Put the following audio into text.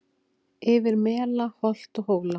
Yfir mela holt og hóla